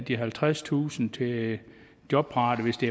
de halvtredstusind kroner til jobparate hvis det